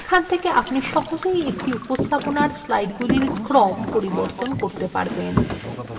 এখান থেকে আপনি সহজেই একটি উপস্থাপনার স্লাইডগুলির ক্রম পরিবর্তন করতে পারবেন